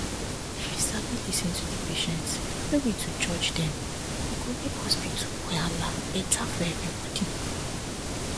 if you sabi lis ten to di patients no be to judge dem e go make hospital wahala better for everybody